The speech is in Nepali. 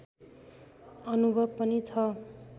अनुभव पनि छ